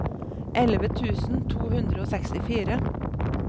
elleve tusen to hundre og sekstifire